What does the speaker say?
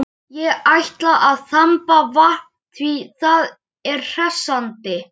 Ég ætla að þamba vatn, því það er hressandi.